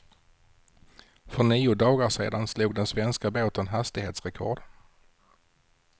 För nio dagar sedan slog den svenska båten hastighetsrekord.